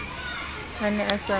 a ne a sa mo